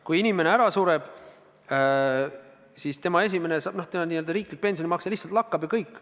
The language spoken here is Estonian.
Kui inimene ära sureb, siis tema riiklik pensionimakse lihtsalt lakkab, ja kõik.